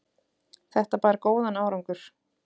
Þetta bar góðan árangur.